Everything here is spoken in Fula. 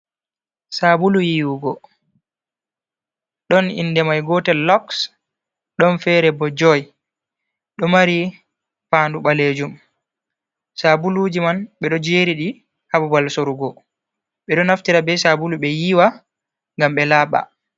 Sabulu yiwugo ɗon inde mai gotel loks, ɗon fere bo joy, ɗo mari pandu balejum, sabuluji man ɓeɗo jeri ɗi ha babal sorugo, ɓeɗo naftira be sabulu ɓe yiiwa ngam ɓe laaɓa.